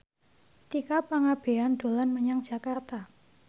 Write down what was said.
Tika Pangabean dolan menyang Jakarta